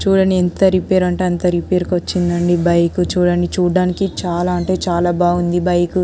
చుడండి ఎంత రేపైరే అంటే అంత రేపైరే కి వచ్చిందండి బైక్ చూడ్డానికి చాల అంటే చాల బాగుంది బైక్ --